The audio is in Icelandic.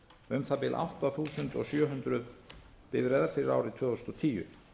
um það bil átta þúsund sjö hundruð bifreiðar fyrir árið tvö þúsund og tíu